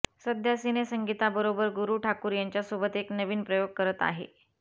सध्या सिनेसंगीताबरोबर गुरू ठाकूर यांच्यासोबत एक नवीन प्रयोग करत आहे